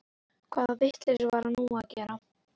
Hvaða vitleysu var hann nú að gera?